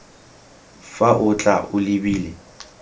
fa o tla o lebile